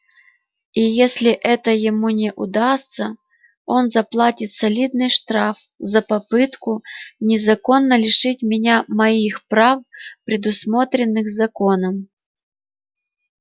и если это ему не удастся он заплатит солидный штраф за попытку незаконно лишить меня моих прав предусмотренных законом